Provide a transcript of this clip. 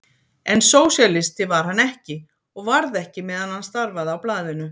En sósíalisti var hann ekki og varð ekki meðan hann starfaði á blaðinu.